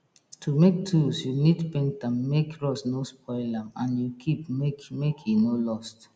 to make tools you need paint am make rust no spoil am and you keep make make e no lost